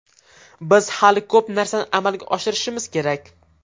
Biz hali ko‘p narsani amalga oshirishimiz kerak.